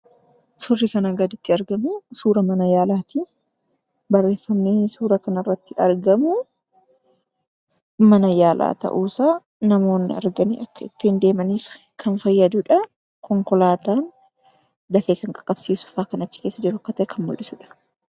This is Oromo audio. Suurri kanaa gaditti argamu suura mana yaalaati. Barreeffamni suura kanarratti argamu, mana yaalaa ta'uusaa namoonni arganii akka ittiin deemaniif kan fayyadudha. Konkolaataan dafee kan qaqqabsiisufaa kan achi keessa jiru akka ta'e kan mul'isudha